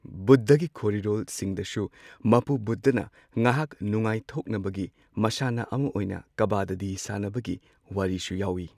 ꯕꯨꯙꯒꯤ ꯈꯣꯔꯤꯔꯣꯜꯁꯤꯡꯗꯁꯨ ꯃꯄꯨ ꯕꯨꯙꯅ ꯉꯥꯏꯍꯥꯛ ꯅꯨꯡꯉꯥꯏꯊꯣꯛꯅꯕꯒꯤ ꯃꯁꯥꯟꯅ ꯑꯃ ꯑꯣꯏꯅ ꯀꯕꯗꯗꯤ ꯁꯥꯟꯅꯕꯒꯤ ꯋꯥꯔꯤꯁꯨ ꯌꯥꯎꯋꯤ꯫